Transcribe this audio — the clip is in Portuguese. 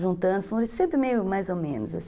Juntando, sempre meio mais ou menos.